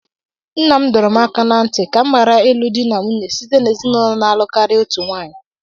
Nna m dọrọ m aka ná ntị ka m ghara ịlụ di na nwunye site n'ezinụlọ na-alụ karịa otu nwaanyị